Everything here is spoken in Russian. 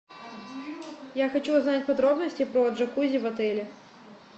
я хочу узнать подробности про джакузи в отеле